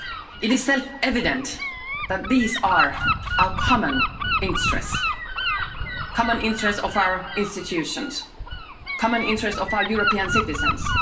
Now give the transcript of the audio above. It is self evident that these are our common interests common interests of our institutions, common interests of our European citizens.